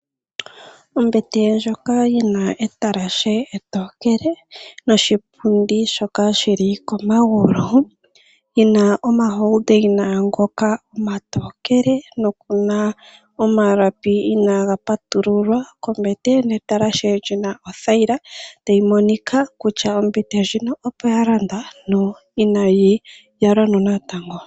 Ombete ndjoka yi na etalashe etokele noshipundi shoka shi li komagulu yi na omalapi gopomakende ngoka omatokele noku na omalapi inaaga patululwa kombete netalashe li li othayila tayi monika kutya ombete ndjika opo ya landwa no inayi yalwa natango.